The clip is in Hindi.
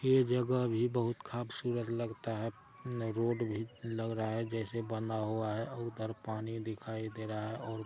ये जगह भी बहुत खबसूरत लगता है रोड भी लग रहा हैं जैसे बना हुआ हैं। ऊपर पानी दिखाई दे रहा हैं और--